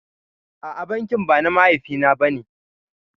A'a bankin ba na mahaifi na bane